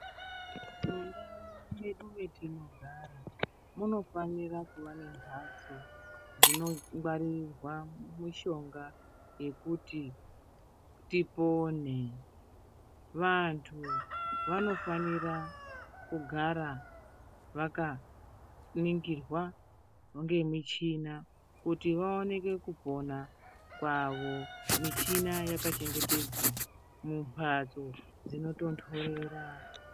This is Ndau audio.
Mundau mwedu mwetino gara, munofanira kuva nemphatso, dzino ngwaririrwa mushonga, yekuti tipone. Vanthu vanofanira kugara vaka ningirwa ngemi chhina, kuti vaoneke kupona kwavo. Michhina yaka chengetedzwa mu mphatso dzinot onthorera.